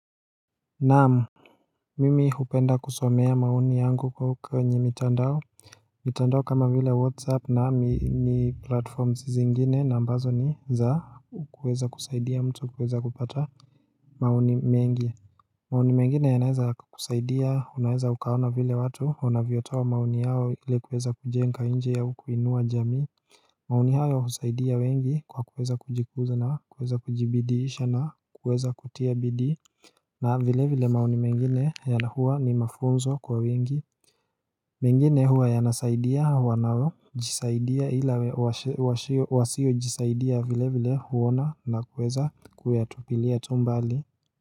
Naam Mimi hupenda kusomea maoni yangu kwenye mitandao mitandao kama vile whatsapp na mini platform zingine na ambazo ni za kuweza kusaidia mtu kuweza kupata maoni mengi maoni mengine yanaweza yakakusaidia, unaweza ukaona vile watu, unavyotoa maoni yao ili kuweza kujenga nchi au kuinua jamii maoni hayo husaidia wengi kwa kuweza kujikuza na kuweza kujibidiisha na kuweza kutia bidii na vile vile maoni mengine huwa ni mafunzo kwa wengi mengine huwa yanasaidia wanaojisaidia ila wasio jisaidia vile vile huona na kueza kuyatupilia tu mbali.